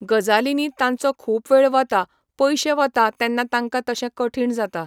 गजालीनी तांचो खूब वेळ वता पयशें वता तेन्ना तांकां तशें कठीन जाता